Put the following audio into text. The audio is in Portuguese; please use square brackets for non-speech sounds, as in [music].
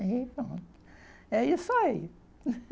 Então, é isso aí. [laughs]